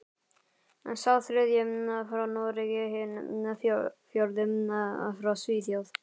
Sá þriðji frá Noregi, hinn fjórði frá Svíþjóð.